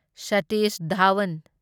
Satish Dhawan